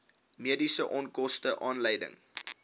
mediese onkoste aanleiding